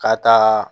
Ka taa